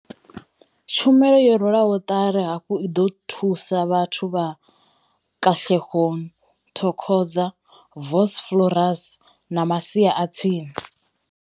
Tshumelo yo rwelwaho ṱari hafhu i ḓo thusa vhathu vha Katlehong, Thokoza, Vosloorus na masia a tsini.